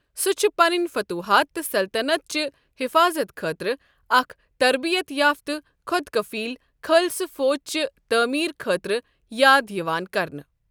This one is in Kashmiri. سُہ چھُ پنٕنۍ فتوحات تہٕ سلطنت چہِ حِفاظت خٲطرٕ اکھ تربیت یافتہٕ، خۅد کفیل خالصہ فوج چہِ تعمیر خٲطرٕ یاد یِوان کرنہٕ۔